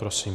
Prosím.